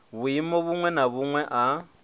vhuimo vhuṅwe na vhuṅwe a